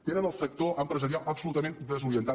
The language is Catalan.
tenen el sector empresarial absolutament desorientat